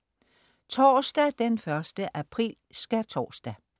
Torsdag den 1. april. Skærtorsdag